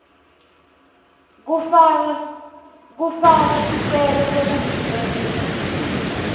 kufaka sicelo sekuvuselela